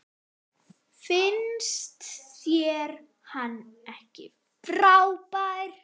Finnst þér hann ekki frábær?